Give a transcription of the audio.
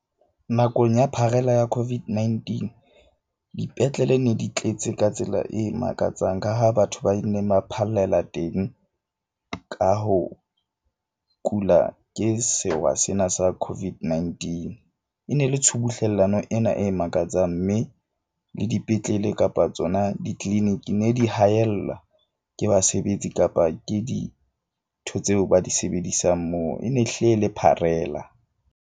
Nakong ya pharela ya COVID-19, dipetlele ne di tletse ka tsela e makatsang. Ka ha batho ba phallela teng ka ho kula ke sewa sena sa COVID-19. E ne le tshubuhlellano ena e makatsang. Mme le dipetlele kapa tsona di-clinic-i ne di haellwa ke basebetsi kapa ke dintho tseo ba di sebedisang moo. E ne hlile e le pharela.